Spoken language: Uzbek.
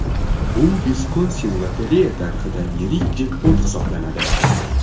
Bu Viskonsin lotereya tarixida yirik jekpot hisoblanadi.